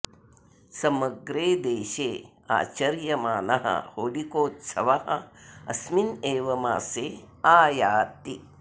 समग्रे देशे आचर्यमानः होलिकोत्सवः अस्मिन् एव मासे आयाति